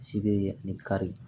Si be ani kari